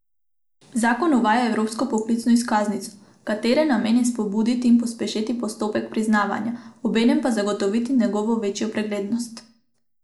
Zakon uvaja evropsko poklicno izkaznico, katere namen je spodbuditi in pospešiti postopek priznavanja, obenem pa zagotoviti njegovo večjo preglednost.